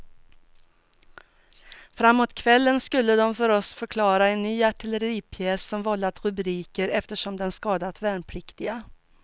Framåt kvällen skulle de för oss förklara en ny artilleripjäs som vållat rubriker eftersom den skadat värnpliktiga.